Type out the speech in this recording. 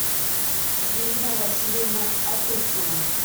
ирина васильевна апыхтина